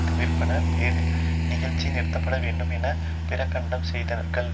தவிர்ப்பதன் பேரில் நிகழ்ச்சி நிறுத்தப்பட வேண்டும் என பிரகடனம் செய்தார்கள்